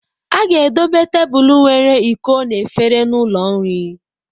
A ga-edobe tebụl nwere iko na efere n'ụlọ nri.